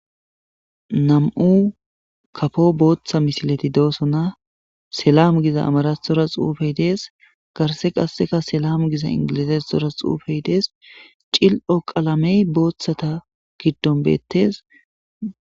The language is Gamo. Na'mu kapo botha misilezi do'sona selam giza amarathora xupey dees garisa qasek selam giza englizathilora xupey dees cili'o qalamey bothata gidoni betes